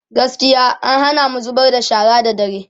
gaskiya an Hana mu zubar da shara da dare